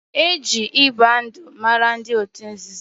Eji ịgba ndụ mara ndị otu nzuzo